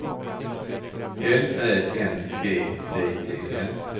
L Ä N G D E N